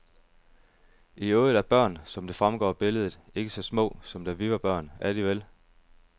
I øvrigt er børn, som det fremgår af billedet, ikke så små, som da vi var børn, er de vel?